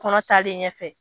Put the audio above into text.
Kɔnɔ talen ɲɛ fɛ.